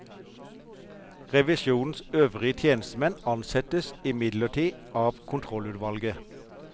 Revisjonens øvrige tjenestemenn ansettes imidlertid av kontrollutvalget.